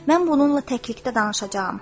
Mən bununla təklikdə danışacağam.